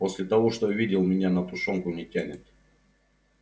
после того что видел меня на тушёнку не тянет